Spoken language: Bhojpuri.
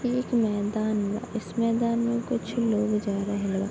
ई एक मैदान बा | इस मैदान में कुछ लोग जा रहल बा |